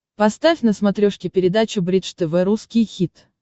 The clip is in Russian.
поставь на смотрешке передачу бридж тв русский хит